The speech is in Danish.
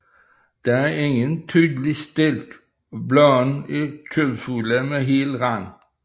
Der er ingen tydelig stilk og bladene er kødfulde med hel rand